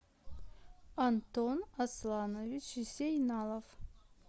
антон асланович зейналов